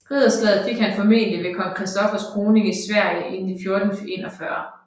Ridderslaget fik han formentlig ved kong Christoffers kroning i Sverige i 1441